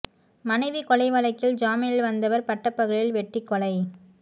மனைவிகொலை வழக்கில் ஜாமீனில் வந்தவர் பட்டப்பகலில் வெட்டிக்கொலை